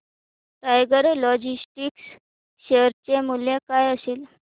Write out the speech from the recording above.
tiger Logistics share चे मूल्य काय असेल